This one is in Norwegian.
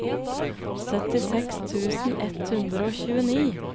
syttiseks tusen ett hundre og tjueni